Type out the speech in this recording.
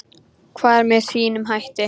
Hver með sínum hætti.